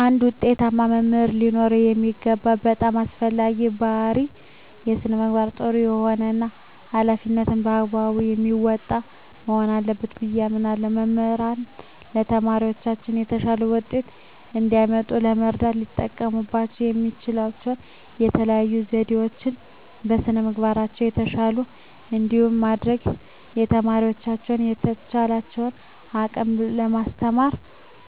አንድ ውጤታማ መምህር ሊኖረው የሚገባው በጣም አስፈላጊው ባህሪይ በስነ ምግባሩ ጥሩ የሆነ እና ሀላፊነቱን በአግባቡ የሚወጣ መሆን አለበት ብየ አስባለሁ። መምህራን ለተማሪዎቻቸው የተሻለ ውጤት እንዲያመጡ ለመርዳት ሊጠቀሙባቸው የሚችሉባቸው የተለዩ ዘዴዎች - በስነ ምግባራቸው የተሻሉ እንዲሆኑ ማድረግ፣ ተማሪዎቻቸውን በተቻላቸው አቅም በማስተማር፣